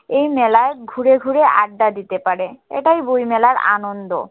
এই মেলায় ঘুরে ঘুরে আড্ডা দিতে পারে এটাই বই মেলার আনন্দ